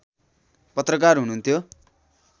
पत्रकार हुनुहुन्थ्यो